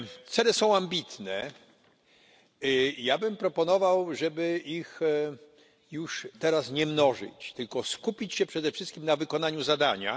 Cele są ambitne, ja bym proponował, żeby ich już teraz nie mnożyć, tylko skupić się przede wszystkim na wykonaniu zadania.